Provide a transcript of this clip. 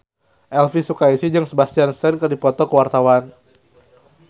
Elvy Sukaesih jeung Sebastian Stan keur dipoto ku wartawan